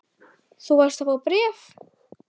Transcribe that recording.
Þú varst að fá bréf.